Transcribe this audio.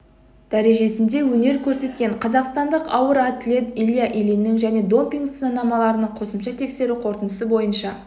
дәрежесінде өнер көрсеткен қазақстандық ауыр атлет илья ильиннің және допинг сынамаларының қосымша тексеру қорытындысы бойынша